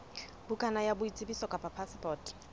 bukana ya boitsebiso kapa phasepoto